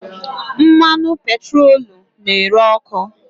Mmanụ petroolu na-ere ọkụ.